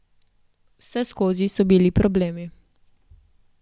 Vseskozi so bili problemi.